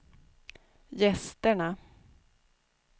gästerna